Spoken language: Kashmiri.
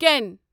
کٮ۪ن